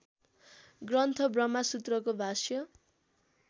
ग्रन्थ ब्रह्मसूत्रको भाष्य